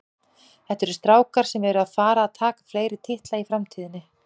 Þetta eru strákar sem eru að fara að taka fleiri titla í framtíðinni.